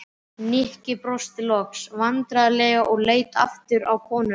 Nikki brosti loks vandræðalega og leit aftur á konuna.